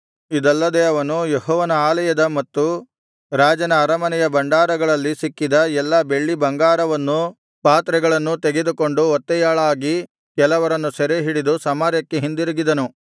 ಇದಲ್ಲದೆ ಅವನು ಯೆಹೋವನ ಆಲಯದ ಮತ್ತು ರಾಜನ ಅರಮನೆಯ ಭಂಡಾರಗಳಲ್ಲಿ ಸಿಕ್ಕಿದ ಎಲ್ಲಾ ಬೆಳ್ಳಿ ಬಂಗಾರವನ್ನೂ ಪಾತ್ರೆಗಳನ್ನೂ ತೆಗೆದುಕೊಂಡು ಒತ್ತೆಯಾಳಾಗಿ ಕೆಲವರನ್ನು ಸೆರೆಹಿಡಿದು ಸಮಾರ್ಯಕ್ಕೆ ಹಿಂದಿರುಗಿದನು